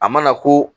A mana ko